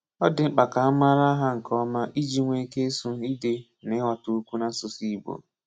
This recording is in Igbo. Ọ dị mkpa ka a mara ha nke ọma iji nwee ike ịsu, ide, na ighọta okwu n’asụsụ Igbo.